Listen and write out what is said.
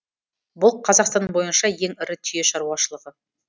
бұл қазақстан бойынша ең ірі түйе шаруашылығы